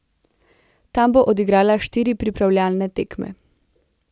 Tam bo odigrala štiri pripravljalne tekme.